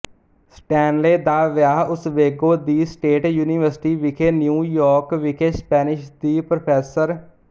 Stanley ਦਾ ਵਿਆਹ Oswego ਦੀ ਸਟੇਟ ਯੂਨੀਵਰਸਿਟੀ ਵਿਖੇ ਨਿਊ ਯਾਰਕ ਵਿਖੇ ਸਪੈਨਿਸ਼ ਦੀ ਪ੍ਰੋਫੈਸਰ ਡਾ